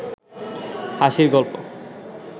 হাঁসির গল্প